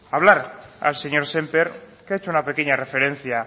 a hablar al señor sémper que ha hecho una pequeña referencia